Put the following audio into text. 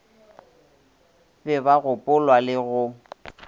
be ba gopolwa le go